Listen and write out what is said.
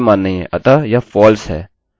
इस समय यहाँ पर कोई मान नहीं हैं अतः यह false है